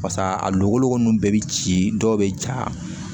Pasa a logoloko nunnu bɛɛ bi ci dɔw be ja